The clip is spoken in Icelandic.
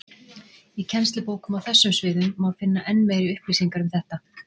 Í kennslubókum á þessum sviðum má finna enn meiri upplýsingar um þetta.